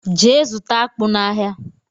Gee zụta akpu na áhiá!!!!!